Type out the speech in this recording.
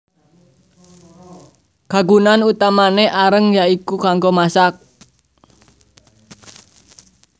Kagunan utamané areng ya iku kanggo masak